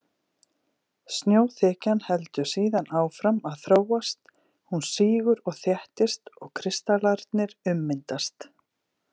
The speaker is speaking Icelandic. Snjóþekjan heldur síðan áfram að þróast, hún sígur og þéttist og kristallarnir ummyndast.